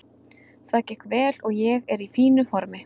Það gekk vel og ég er í fínu formi.